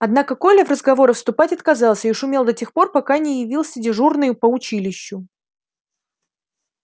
однако коля в разговоры вступать отказался и шумел до тех пор пока не явился дежурный по училищу